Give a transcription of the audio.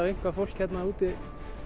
eitthvað fólk hérna úti